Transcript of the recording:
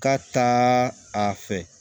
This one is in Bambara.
Ka taa a fɛ